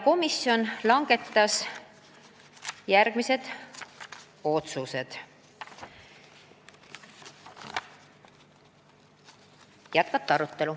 Viimaks langetas komisjon otsuse arutelu jätkata.